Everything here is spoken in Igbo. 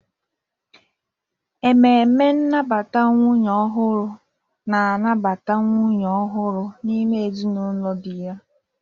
Ememe nnabata nwunye ọhụrụ na-anabata nwunye ọhụrụ n'ime ezinụlọ di ya.